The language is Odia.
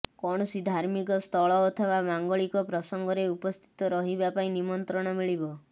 କୌଣସି ଧାର୍ମିକ ସ୍ଥଳ ଅଥବା ମାଙ୍ଗଳିକ ପ୍ରସଙ୍ଗରେ ଉପସ୍ଥିତ ରହିବା ପାଇଁ ନିମନ୍ତ୍ରଣ ମିଳିବ